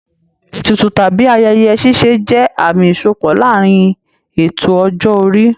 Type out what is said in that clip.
Ètùtù tàbí ayẹyẹ ṣíṣe jẹ́ àmì ìṣípò láàárín ètò ọjọ́ orí